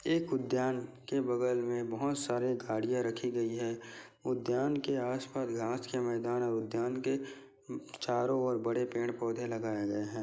एक उद्यान के बगल में बहुत सारे गाड़ियां रखी गई है उद्यान के आस-पास घास के मैदान है उद्यान के चारों ओर बड़े पेड़-पौधे लगाए गए है।